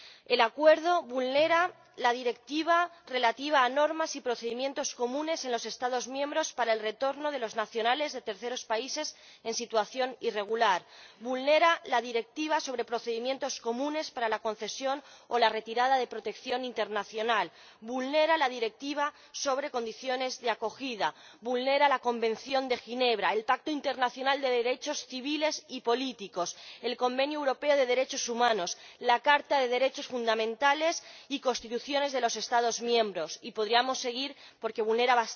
El acuerdo vulnera la Directiva relativa a normas y procedimientos comunes en los Estados miembros para el retorno de los nacionales de terceros países en situación irregular, vulnera la Directiva sobre procedimientos comunes para la concesión o la retirada de la protección internacional, vulnera la Directiva sobre condiciones de acogida, vulnera la Convención de Ginebra, el Pacto Internacional de Derechos Civiles y Políticos, el Convenio Europeo de Derechos Humanos, la Carta de los Derechos Fundamentales y constituciones de los Estados miembros, y podríamos seguir, porque vulnera